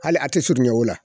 Hali a tɛ surunɲɛ o la